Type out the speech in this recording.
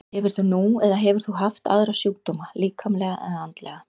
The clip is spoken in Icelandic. Hefur þú nú eða hefur þú haft aðra sjúkdóma, líkamlega eða andlega?